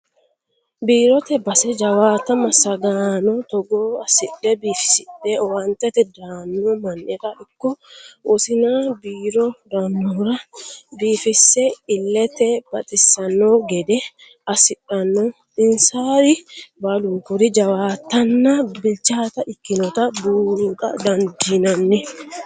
Biirote base jawaatta massagaano togo assidhe biifisidhe owaantete daano mannira ikko wosina biiro daanohura biifise ilete baxisano gede assidhano insari baalunkiri jawaattanna bilchaata ikkinotta buuxa dandiinanni.